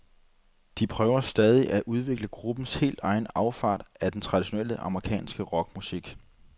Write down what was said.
De prøver stadig at udvikle gruppens helt egen afart af den traditionelle amerikanske rockmusik.